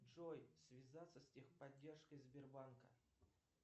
джой связаться с техподдержкой сбербанка